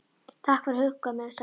Takk fyrir að hugga mig sagði hún.